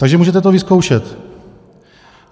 Takže to můžete vyzkoušet.